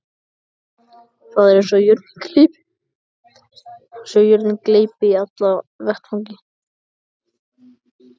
Það er eins og jörðin gleypi alla í einu vetfangi.